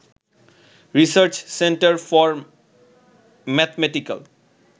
research centre for mathematical